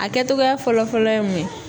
A kɛtogoya fɔlɔ-fɔlɔ ye mun ye?